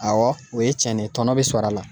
Awɔ o ye cɛn ne ye tɔnɔ be sɔr'a la.